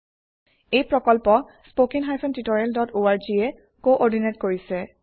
এই প্ৰকল্প httpspoken tutorialorg এ কোঅৰ্ডিনেট কৰিছে